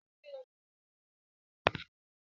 Àwọn ọmọ ogun ojú omi máa ń ní aṣọ fún oríṣiríṣi ìṣẹ̀lẹ̀